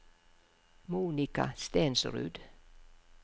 Monika Stensrud